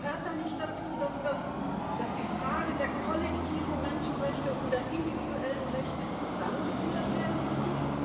Gehört da nicht dazu, dass die Frage der kollektiven Menschenrechte und der individuellen Rechte zusammengeführt werden müssen?